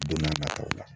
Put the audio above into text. Don n'a nataw la